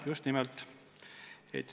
Just nimelt!